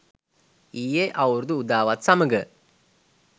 ඊයේ අවුරුදු උදාවත් සමඟ